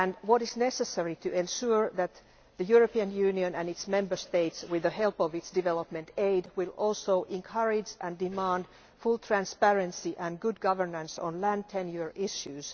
It is necessary to ensure that the European Union and its Member States, with the help of its development aid, encourage and demand full transparency and good governance on land tenure issues.